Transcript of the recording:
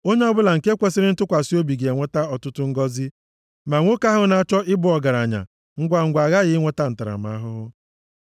Onye ọbụla nke kwesiri ntụkwasị obi ga-enweta ọtụtụ ngọzị, ma nwoke ahụ na-achọ ịbụ ọgaranya ngwangwa aghaghị inweta ntaramahụhụ.